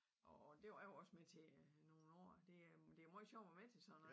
Og og det var jeg jo også med til øh nogen år det er meget sjovt at være med til sådan noget